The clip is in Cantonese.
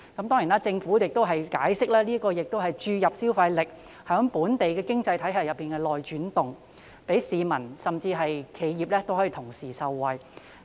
當然，政府亦解釋目的是注入消費力在本地經濟體系內流轉，讓市民以至企業同時受惠。